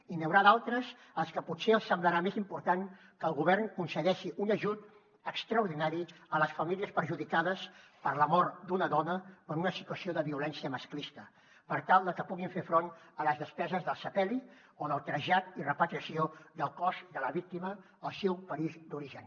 i n’hi haurà d’altres als que potser els semblarà més important que el govern concedeixi un ajut extraordinari a les famílies perjudicades per la mort d’una dona per una situació de violència masclista per tal de que puguin fer front a les despeses del sepeli o del trasllat i repatriació del cos de la víctima al seu país d’origen